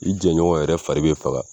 I jɛɲɔgɔn yɛrɛ fari be faga